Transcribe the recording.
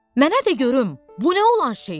Mənə də görüm bu nə olan şeydir?